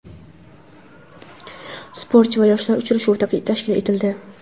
"Sportchi va yoshlar" uchrashuvi tashkil etildi.